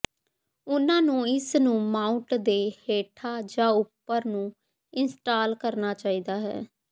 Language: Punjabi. ਉਹਨਾਂ ਨੂੰ ਇਸ ਨੂੰ ਮਾਊਟ ਦੇ ਹੇਠਾਂ ਜਾਂ ਉੱਪਰ ਨੂੰ ਇੰਸਟਾਲ ਕਰਨਾ ਚਾਹੀਦਾ ਹੈ